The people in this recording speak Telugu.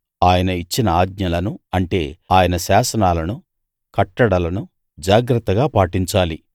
ఆయన ఇచ్చిన ఆజ్ఞలను అంటే ఆయన శాసనాలను కట్టడలను జాగ్రత్తగా పాటించాలి